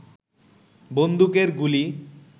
বন্দুকের গুলি